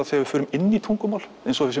þegar við förum inn í tungumál eins og við